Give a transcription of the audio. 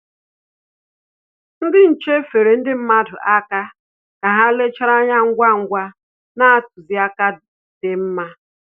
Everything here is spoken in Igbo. Ndị nche feere ndị mmadụ aka ka ha lechara anya ngwa ngwa na ntụziaka dị mma